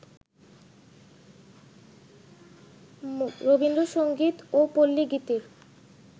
রবীন্দ্রসংগীত ও পল্লিগীতির